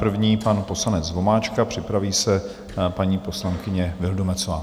První pan poslanec Vomáčka, připraví se paní poslankyně Vildumetzová.